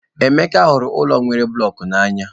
Emeka hụrụ ụlọ nwere blocks n'anya.